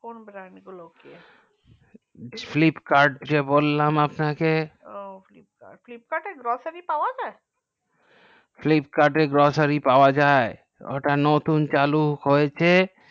কোন brand গুলো okay flipkart যে বললাম আপনাকে ও flipkart এ grocery পাওয়া যাই ফ্লিপকার্ড grocery পাওয়া যাই ওটা নতুন চালু হয়েছে